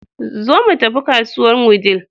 Zo mu tafi kasuwar Wudil.